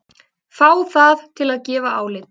Fá það til að gefa álit